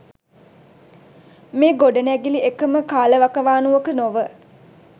මේ ගොඩනැගිලි එකම කාලවකවානුවක නොව